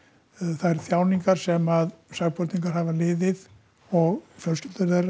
þær þjáningar sem sakborningar hafa liðið og fjölskyldur þeirra